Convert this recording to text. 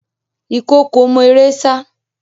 Ìkookò mọ eré sá.